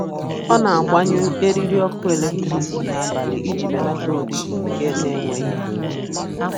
Ọ na-agbanyụ eriri ọkụ eletrik n'abalị iji belata oriri ike n'enweghị uru.